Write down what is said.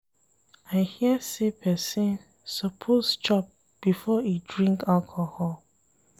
I hear sey pesin suppose chop before e drink alcohol.